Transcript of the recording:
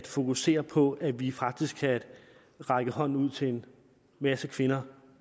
fokusere på at vi faktisk kan række hånden ud til en masse kvinder